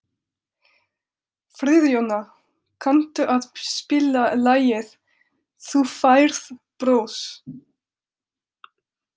Friðjóna, kanntu að spila lagið „Þú Færð Bros“?